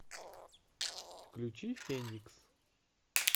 включи феникс